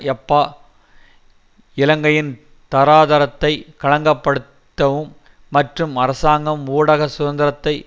யாப்பா இலங்கையின் தராதரத்தை களங்கப்படுத்தவும் மற்றும் அரசாங்கம் ஊடக சுதந்திரத்தை